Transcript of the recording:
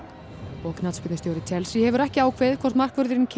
og knattspyrnustjóri Chelsea hefur ekki ákveðið hvort markvörðurinn